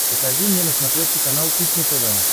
покажи мне на смотрешке канал кухня тв